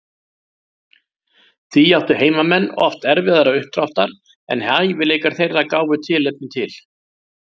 Því áttu heimamenn oft erfiðara uppdráttar en hæfileikar þeirra gáfu tilefni til.